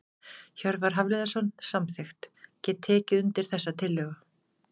Hjörvar Hafliðason- Samþykkt Get tekið undir þessa tillögu.